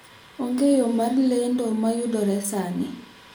Onge yo mar lendo ma yudore sani